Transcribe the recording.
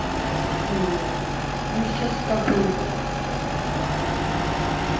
ну сейчас как бы